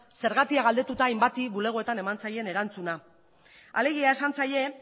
zergatia galdetuta hainbati bulegoetan eman zaien erantzuna alegia esan zaie